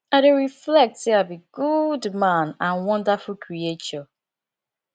i dey reflect say i be good man and wonderful creature